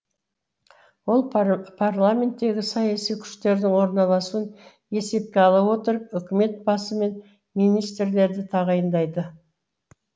ол парламенттегі саяси күштердің орналасуын есепке ала отырып үкімет басы мен министрлерді тағайындайды